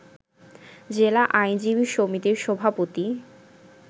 জেলা আইনজীবী সমিতির সভাপতি